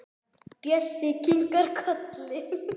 Bjössi kinkar kolli.